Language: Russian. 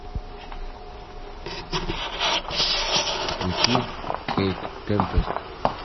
включи кейт темпест